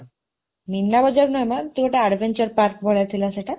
ମୀନା ବଜ଼ାର ନୁହେଁ ମ ଏମିତି ଗୋଟେ adventure ପାର୍କ ଭଳିଆ ଥିଲା ସେଟା